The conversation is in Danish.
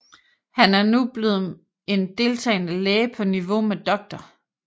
Han er nu blevet en deltagende læge på niveau med Dr